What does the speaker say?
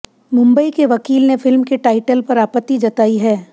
मुंबई के वकील ने फिल्म के टाइटल पर आपत्ति जताई है